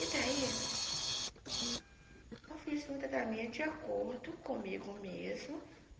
E daí, eu fiz o tratamento de acordo comigo mesma.